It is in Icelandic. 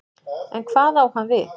En hvað á hann við?